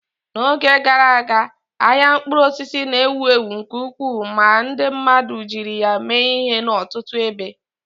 N'oge gara aga, ahịa mkpụrụ osisi na-ewu ewu nke ukwuu ma ndi mmadu jiri ya mee ihe n'ọtụtụ ebe.